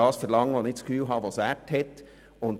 ich verlange den Gegenwert, den ich für angemessen halte.